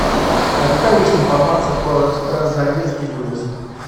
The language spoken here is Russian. а какая есть информация про экспресс заезд и выезд